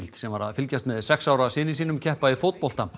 sem var að fylgjast með sex ára syni sínum keppa í fótbolta